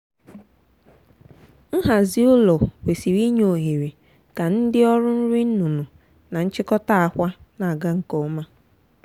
nhazi ụlọ kwesịrị inye ohere ka ndị ọrụ nri nnụnụ na nchịkọta akwa na-aga nke ọma.